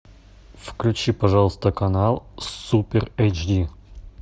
включи пожалуйста канал супер эйчди